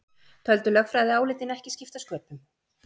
Töldu lögfræðiálitin ekki skipta sköpum